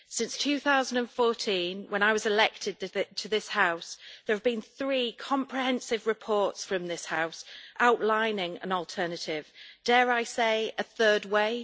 Since 2014, when I was elected to this House, there have been three comprehensive reports from this House outlining an alternative dare I say a third way?